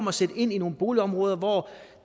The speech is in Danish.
at sætte ind i boligområder hvor